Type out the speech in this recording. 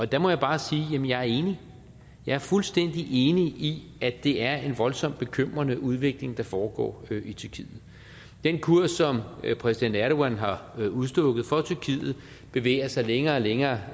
der må jeg bare sige jamen jeg er enig jeg er fuldstændig enig i at det er en voldsomt bekymrende udvikling der foregår i tyrkiet den kurs som præsident erdogan har udstukket for tyrkiet bevæger sig længere og længere